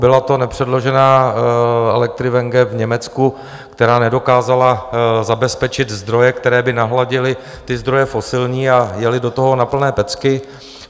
Byla to nepředložená Electriwenge v Německu, která nedokázala zabezpečit zdroje, které by nahradily ty zdroje fosilní, a jeli do toho na plné pecky.